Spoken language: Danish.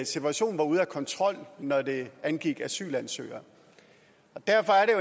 situationen var ude af kontrol når det angik asylansøgere derfor er